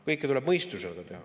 Kõike tuleb mõistusega teha.